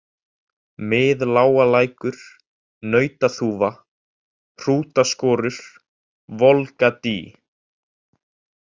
Miðlágalækur, Nautaþúfa, Hrútaskorur, Volgadý